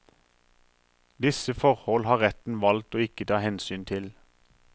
Disse forhold har retten valgt å ikke ta hensyn til.